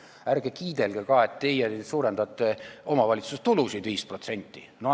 Ärge kiidelge ka, et teie suurendate omavalitsuste tulusid 5%!